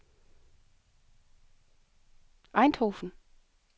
Eindhoven